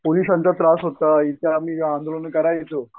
पोलिसांचा त्रास होता इथे आम्ही आंदोलनं करायचो.